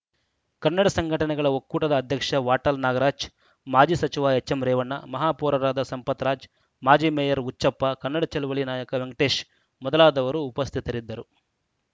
ಕನ್ನಡ ಸಂಘಟನೆಗಳ ಒಕ್ಕೂಟದ ಅಧ್ಯಕ್ಷ ವಾಟಾಳ್‌ ನಾಗರಾಜ್‌ ಮಾಜಿ ಸಚಿವ ಎಚ್‌ಎಂರೇವಣ್ಣ ಮಹಾಪೌರರಾದ ಸಂಪತ್‌ರಾಜ್‌ ಮಾಜಿ ಮೇಯರ್‌ ಹುಚ್ಚಪ್ಪ ಕನ್ನಡ ಚಳವಳಿ ನಾಯಕ ವೆಂಕಟೇಶ್‌ ಮೊದಲಾದವರು ಉಪಸ್ಥಿತರಿದ್ದರು